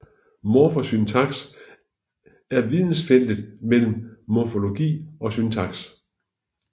Morfosyntaks er vidensfeltet mellem morfologi og syntaks